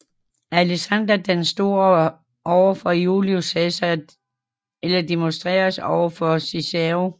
Alexander den Store over for Julius Cæsar eller Demosthenes over for Cicero